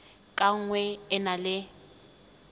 ka nngwe e na le